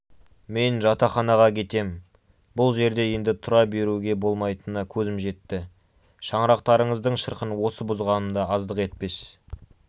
мен жатақханаға кетем бұл жерде енді тұра беруге болмайтынына көзім жетті шаңырақтарыңыздың шырқын осы бұзғаным да аздық етпес